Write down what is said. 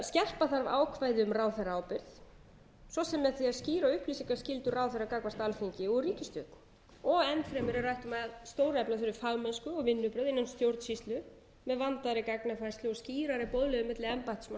skerpa þarf ákvæði um ráðherraábyrgð svo sem með því að stýra upplýsingaskyldu ráðherra gagnvart alþingi og ríkisstjórn enn fremur er rætt um að stórefla þurfi fagmennsku og vinnubrögð innan stjórnsýslu með vandaðri gagnafærslu og skýrari boðleiðum milli embættismanna og stjórnmálamanna þetta